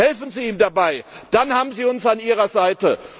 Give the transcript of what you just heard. Helfen Sie ihm dabei, dann haben Sie uns an Ihrer Seite!